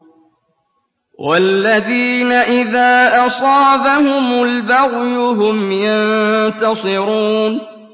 وَالَّذِينَ إِذَا أَصَابَهُمُ الْبَغْيُ هُمْ يَنتَصِرُونَ